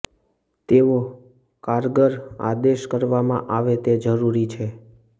તેવો કારગર આદેશ કરવામાં આવે તે જરૂરી છે